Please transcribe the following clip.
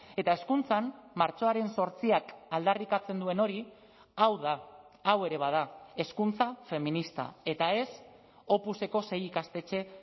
eta hezkuntzan martxoaren zortziak aldarrikatzen duen hori hau da hau ere bada hezkuntza feminista eta ez opuseko sei ikastetxe